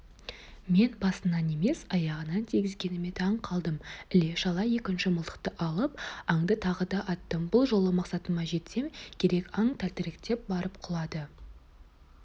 мен басынан емес аяғынан тигізгеніме таң қалдым іле-шала екінші мылтықты алып аңды тағы да аттым бұл жолы мақсатыма жетсем керек аң тәлтіректеп барып құлады